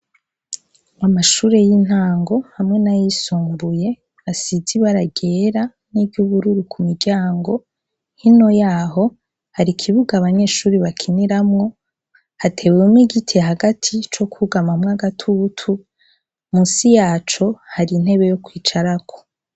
Amashure y'intango hamwe na yisumbuye asize ibara ryera n'iryubururu ku miryango hino yaho hari ikibuga abanyeshuri bakiniramwo hatewemwo igite hagati co kwugamamwa gatutu musi yaco hari intebe yo kwicarako.